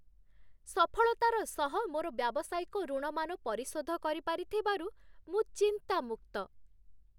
ସଫଳତାର ସହ ମୋର ବ୍ୟାବସାୟିକ ଋଣମାନ ପରିଶୋଧ କରିପାରିଥିବାରୁ ମୁଁ ଚିନ୍ତାମୁକ୍ତ ।